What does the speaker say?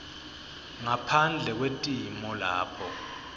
ngaphandle kwetimo lapho